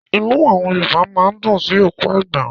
Inú àwọn Yorùbá máa ń dùn sí òkú àgbà.